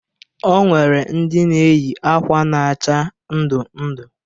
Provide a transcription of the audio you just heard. O nwere ndị na-eyi akwa na-acha ndụ ndụ.